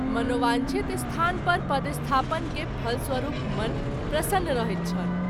मनोवाँक्षित स्थान पर पदस्थापन के फलस्वरूप मन प्रसन्न रहैत छल।